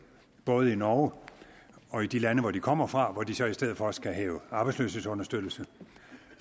både i norge og i de lande hvor de kommer fra hvor de så i stedet for skal hæve arbejdsløshedsunderstøttelse